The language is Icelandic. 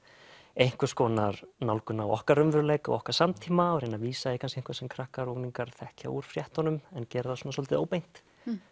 einhvers konar nálgun á okkar raunveruleika og okkar samtíma og reyna að vísa í eitthvað sem krakkar og unglingar þekkja úr fréttunum en gera það svolítið óbeint